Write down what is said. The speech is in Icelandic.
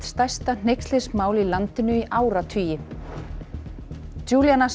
stærsta hneykslismál í landinu í áratugi